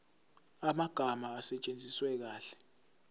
amagama asetshenziswe kahle